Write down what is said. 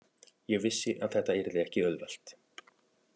Ég vissi að þetta yrði ekki auðvelt.